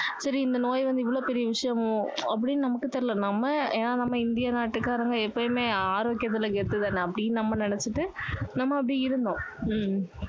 சரி இந்த நோய் வந்து இவ்வளோ பெரிய விஷயமோ அப்படின்னு நமக்கு தெரியல நம்ம ஏன்னா நம்ம இந்திய நாட்டு காரங்க எப்போவுமே ஆரோக்கியத்துல கெத்து தானே அப்படின்னு நம்ம நினச்சிட்டு நம்ம அப்படி இருந்தோம்